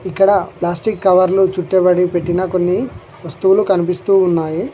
ఇక్కడ ప్లాస్టిక్ కవర్లో చుట్టబడి పెట్టిన కొన్ని వస్తువులు కనిపిస్తూ ఉన్నాయి.